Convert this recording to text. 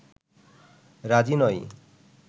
রাজি নয়